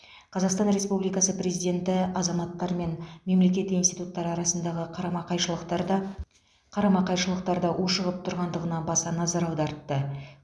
қазақстан республикасы президенті азаматтар мен мемлекет институттары арасындағы қарама қайшылықтар да қарама қайшылықтар да ушығып тұрғандығына баса назар аудартты